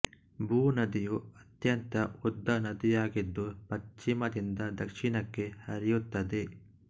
ಬೊ ನದಿಯು ಅತ್ಯಂತ ಉದ್ದ ನದಿಯಾಗಿದ್ದು ಪಶ್ಚಿಮದಿಂದ ದಕ್ಷಿಣಕ್ಕೆ ಹರಿಯುತ್ತದೆ